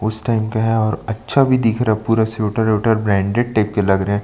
उस टाइम का है और अच्छा भी दिख रहा है पूरा स्वेटर - विवेटर ब्रांडेड टाइप के लग रहै हैं।